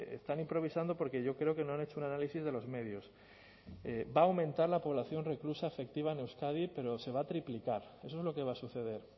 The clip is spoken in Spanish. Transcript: están improvisando porque yo creo que no han hecho un análisis de los medios va a aumentar la población reclusa efectiva en euskadi pero se va a triplicar eso es lo que va a suceder